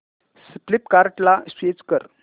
फ्लिपकार्टं ला स्विच कर